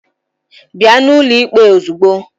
Bịa n'ụlọ ikpe ozugbo!